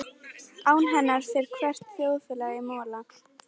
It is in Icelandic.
Án hennar fer hvert þjóðfélag í mola.